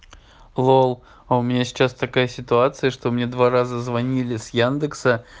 лол а у меня сейчас такая ситуация что мне два раза звонили с яндекса